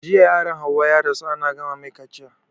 Jiya yaron hauwa ya rasu ana gama mai kaciya